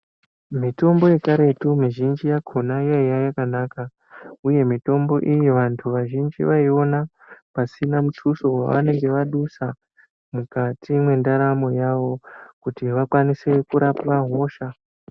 Mitombo yekaretu mizhinji yakona yaive yakanaka uye mitombo iyi vantu vazhinji vaiona pasina muduso wanenge vadusa mukati mendaramo yawo kuti vakwanise kurapa hosha.